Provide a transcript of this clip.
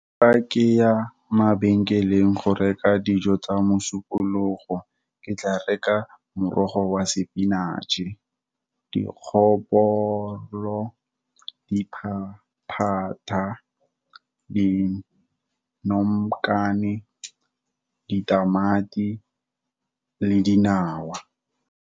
Fa ke ya mabenkeleng go reka dijo tsa mosupologo, ke tla reka, morogo wa spinache-e, dikgopolo, diphaphatha, dinomokane, ditamati le dinawa.